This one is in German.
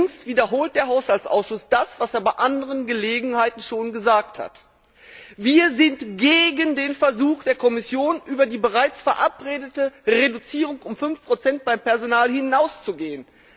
Allerdings wiederholt der Haushaltsausschuss das, was er bei anderen Gelegenheiten schon gesagt hat Wir sind gegen den Versuch der Kommission, über die bereits verabredete Reduzierung um 5 beim Personal hinauszugehen.